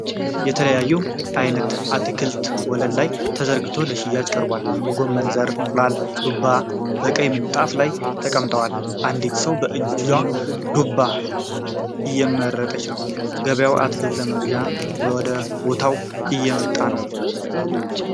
የተለያየ አይነት አትክልት ወለል ላይ ተዘርግቶ ለሽያጭ ቀርቧል። ጎመን ዘር፣ እንቁላል እና ዱባ በቀይ ምንጣፍ ላይ ተቀምጠዋል። አንዲት ሰው በእጅዋ ዱባ እየመረጠች ነው። ገበያተኛው አትክልቱን ለመግዛት ወደ ቦታው እየመጣ ነው።